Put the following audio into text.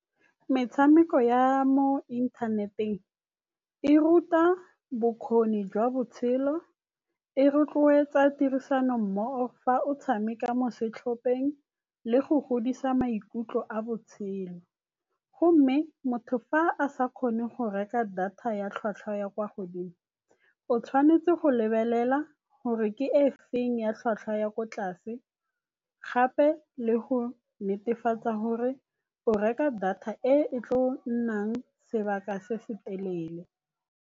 Metshameko ya mo inthaneteng e ruta bokgoni jwa botshelo, e rotloetsa tirisano mmogo fa o tshameka mo setlhopheng le go godisa maikutlo a botshelo. Gomme motho fa a sa kgone go reka data ya tlhwatlhwa ya kwa godimo, o tshwanetse go lebelela gore ke e feng ya tlhwatlhwa ya ko tlase gape le go netefatsa gore o reka data e e tlo nnang sebaka se se telele.